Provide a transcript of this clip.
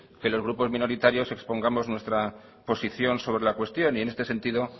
que los grupos minoritarios expongamos nuestra posición sobre la cuestión y en este sentido